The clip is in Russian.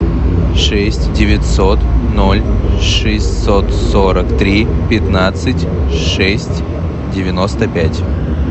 шесть девятьсот ноль шестьсот сорок три пятнадцать шесть девяносто пять